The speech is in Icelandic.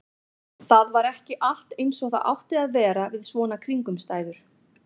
Það var ekki allt eins og það átti að vera við svona kringumstæður.